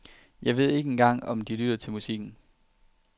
Jeg ved ikke engang om de lytter til musikken.